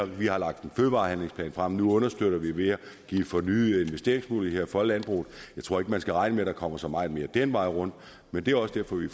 vi har lagt en fødevarehandlingsplan frem nu understøtter vi ved at give fornyede investeringsmuligheder for landbruget jeg tror ikke man skal regne med der kommer så meget mere den vej rundt men det er også derfor vi